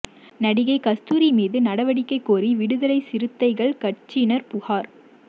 நடிகை கஸ்தூரி மீது நடவடிக்கை கோரி விடுதலை சிறுத்தைகள் கட்சியினா் புகாா்